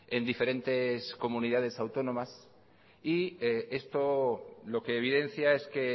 en diferentes comunidades autónomas y esto lo que evidencia es que